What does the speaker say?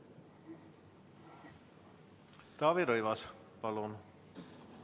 Taavi Rõivas, palun!